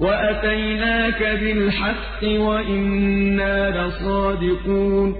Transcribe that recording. وَأَتَيْنَاكَ بِالْحَقِّ وَإِنَّا لَصَادِقُونَ